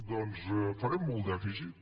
doncs farem molt dèficit